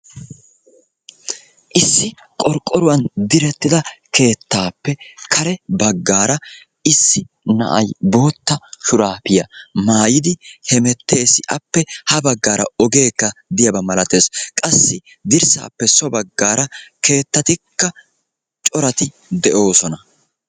Issi qorqqoruwan direttida keettaappe kare baggaara issi na"ayi bootta shuraapiya maayidi hemettees. Appe ha baggaara ogeekka diyaaba malatees. Qassi dirssaappe so baggaara keettatikka corati de"oosona.